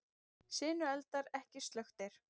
Sinueldar ekki slökktir